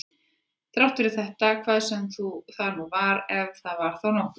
Þrátt fyrir þetta hvað sem það nú var, ef það var þá nokkuð.